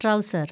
trouser‍